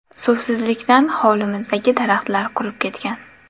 Suvsizlikdan hovlimizdagi daraxtalar qurib ketgan.